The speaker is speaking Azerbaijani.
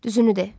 Düzünü de.